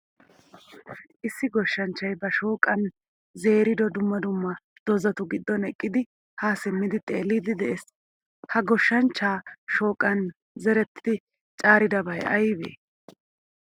Issi goshshanchchay ba shoqqan zerido dumma dumma dozatu giddon eqqidi ha simmidi xeellidi de'ees. Ha goshshanchcha shoqqan zerettidi caaridabay aybe?